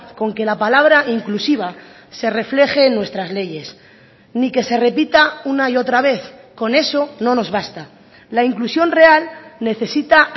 con que la palabra inclusiva se refleje en nuestras leyes ni que se repita una y otra vez con eso no nos basta la inclusión real necesita